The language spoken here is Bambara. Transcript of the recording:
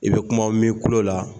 I bɛ kumaw mɛn i kolo la!